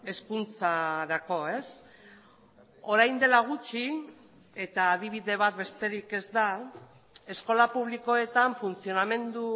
hezkuntzarako orain dela gutxi eta adibide bat besterik ez da eskola publikoetan funtzionamendu